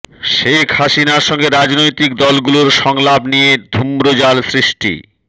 শেখ হাসিনার সঙ্গে রাজনৈতিক দলগুলোর সংলাপ নিয়ে ধূম্রজাল সৃষ্টি